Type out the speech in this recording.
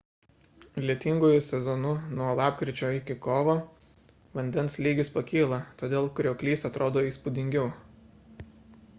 lietinguoju sezonu nuo lapkričio iki kovo vandens lygis pakyla todėl krioklys atrodo įspūdingiau